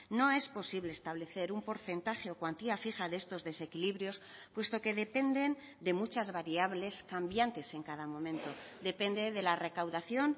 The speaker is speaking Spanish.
no es posible establecer un porcentaje o cuantía fija de estos desequilibrios puesto que dependen de muchas variables cambiantes en cada momento depende de la recaudación